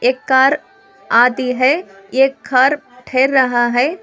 एक कार आती है एक कार ठहर रहा है।